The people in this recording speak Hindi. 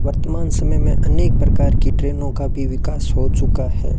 वर्तमान समय में अनेक प्रकार की ट्रेनों का भी विकास हो चुका है।